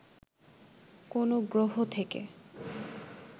কোন গ্রহ থেকে